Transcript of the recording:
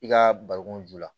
I ka bariko ju la